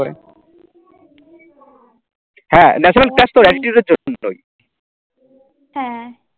হ্যাঁ